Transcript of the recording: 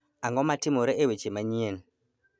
Ang'o matimore e weche manyien